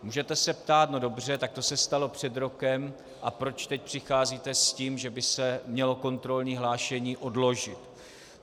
Můžete se ptát - no dobře, tak to se stalo před rokem a proč teď přicházíte s tím, že by se mělo kontrolní hlášení odložit?